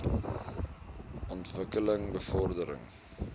ontwik keling bevordering